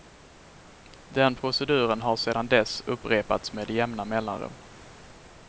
Den proceduren har sedan dess upprepats med jämna mellanrum.